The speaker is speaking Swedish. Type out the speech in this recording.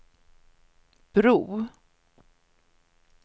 bro